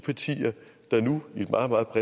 har fået nu